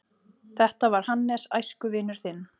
Þetta var Hannes, æskuvinur þinn.